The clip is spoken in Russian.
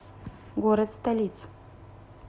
город столиц